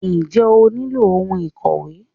Njẹ́ o nílò ohun ìkòwé?